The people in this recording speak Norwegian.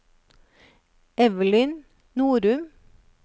Evelyn Norum